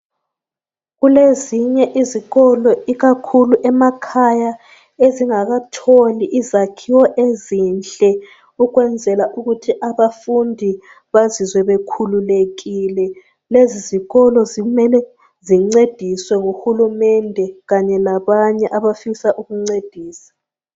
Kulezinye izikolo ikakhulu emakhaya ezingakatholi izakhiwo ezinhle ukwenzela ukuthi abafundi bazizwe bakhululelile. Lezi izikolo zimele zincediswe ngu hulumende kanye labanye abafisa ukuncedisa